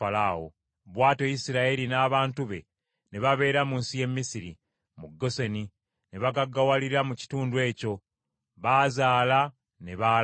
Bw’atyo Isirayiri n’abantu be ne babeera mu nsi y’e Misiri, mu Goseni, ne bagaggawalira mu kitundu ekyo. Baazaala ne baala nnyo.